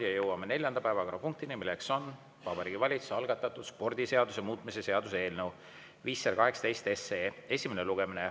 Oleme jõudnud neljanda päevakorrapunktini, milleks on Vabariigi Valitsuse algatatud spordiseaduse muutmise seaduse eelnõu 518 esimene lugemine.